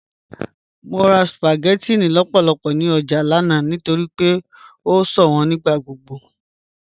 Mọ rà spaghettinni lọ́pọ̀lọ́pọ̀ ní ọjà lánà nítorí pé o ṣọwọn nígbàgbogbo.